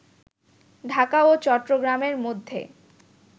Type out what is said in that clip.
ঢাকা ও চট্টগ্রামের মধ্যে